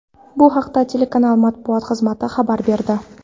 Bu haqda telekanal matbuot xizmati xabar berdi.